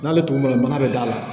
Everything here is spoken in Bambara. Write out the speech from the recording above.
N'ale tun bɔr'a bana bɛ da la